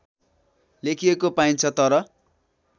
लेखिएको पाइन्छ तर